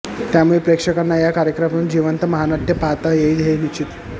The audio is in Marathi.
त्यामुळे प्रेक्षकांना या कार्यक्रमातून जिवंत महानाट्य पाहता येईल हे निश्चित